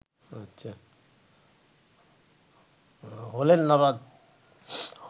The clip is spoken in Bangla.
হলেন নারদ